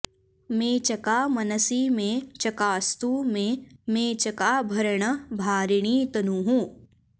मेचका मनसि मे चकास्तु मे मेचकाभरण भारिणी तनुः